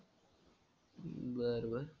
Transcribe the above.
बरं बरं.